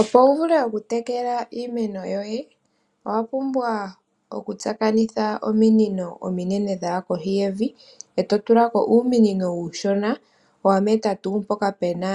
Opo wu vule oku tekela iimeno yoye owa pumbwa oku tsakanitha omiinino ominene dhaya kohi yevi, eto tulako uumunino uushona wa meta mpoka puna